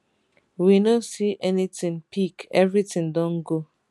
we no see anything pick everything don go